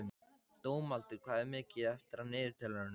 Dómaldur, hvað er mikið eftir af niðurteljaranum?